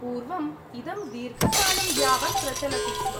पूर्वम् इदं दीर्घकालं यावत् प्रचलति स्म।